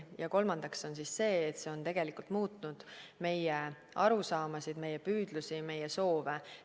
Ja kolmandaks on see, et see on muutnud meie arusaamasid, meie püüdlusi, meie soove.